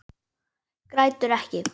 Grætur ekki.